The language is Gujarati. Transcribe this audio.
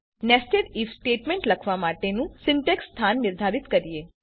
હવે ચાલો નેસ્ટેડ આઇએફ સ્ટેટમેંટ લખવા માટેની સીન્ટેક્ષનું સ્થાન નિર્ધારિત કરીએ